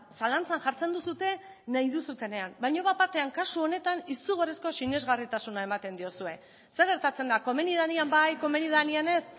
zalantzan jartzen duzue nahi duzuenean baino bapatean kasu honetan izugarrizko sinesgarritasuna ematen diozue zer gertatzen da komeni danean bai komeni danean ez